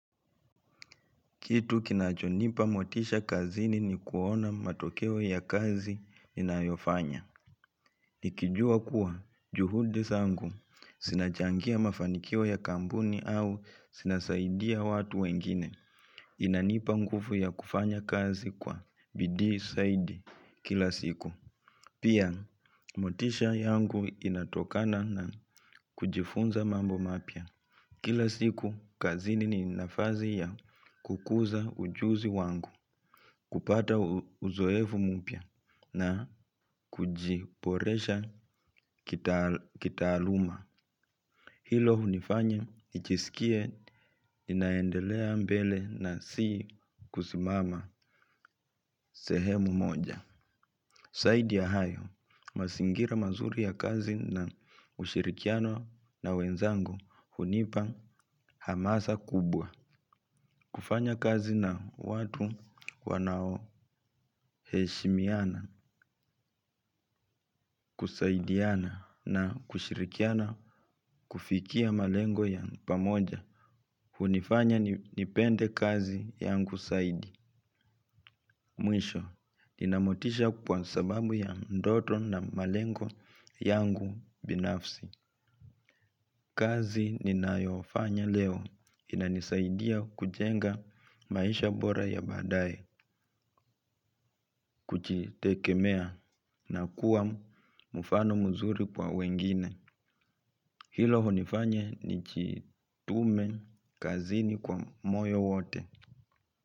Kitu kinachonipa motisha kazini ni kuona matokeo ya kazi ninayofanya. Nikijua kuwa juhudi zangu. Zinachangia mafanikio ya kampuni au zinasaidia watu wengine. Inanipa nguvu ya kufanya kazi kwa bidii zaidi kila siku. Pia, motisha yangu inatokana na kujifunza mambo mapya. Kila siku, kazini ni nafasi ya kukuza ujuzi wangu, kupata uzoefu mpya na kujiboresha kitaaluma. Hilo hunifanya, nijisikie, ninaendelea mbele na si kusimama sehemu moja. Zaidi ya hayo, mazingira mazuri ya kazi na ushirikiano na wenzangu hunipa hamasa kubwa. Kufanya kazi na watu wanao heshimiana, kusaidiana na kushirikiana kufikia malengo ya pamoja hunifanya nipende kazi yangu zaidi. Mwisho, ninamotisha kwa sababu ya ndoto na malengo yangu binafsi. Kazi ninayofanya leo inanisaidia kujenga maisha bora ya baadaye. Kujitegemea na kuwa mfano mzuri kwa wengine hilo hunifanya nijitume kazini kwa moyo wote.